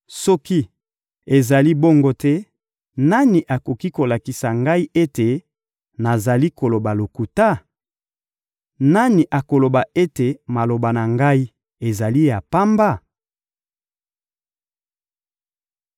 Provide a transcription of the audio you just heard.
Soki ezali bongo te, nani akoki kolakisa ngai ete nazali koloba lokuta? Nani akoloba ete maloba na ngai ezali ya pamba?»